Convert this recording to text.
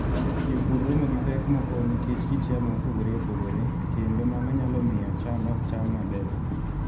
Jopur romo gi pek moko nikech kit yamo mopogore opogore, kendo mano nyalo miyo cham ok cham maber.